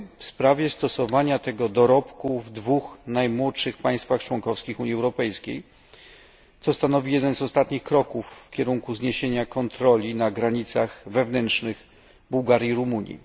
sprawie stosowania tego dorobku w dwóch najmłodszych państwach członkowskich Unii Europejskiej, co stanowi jeden z ostatnich kroków w kierunku zniesienia kontroli na granicach wewnętrznych Bułgarii i Rumunii.